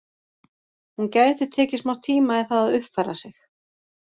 Hún gæti tekið smá tíma í það að uppfæra sig.